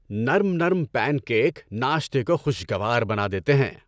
نرم نرم pancake ناشتے کو خوشگوار بنا دیتے ہیں۔